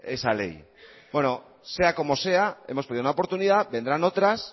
esa ley bueno sea como sea hemos perdido una oportunidad vendrán otras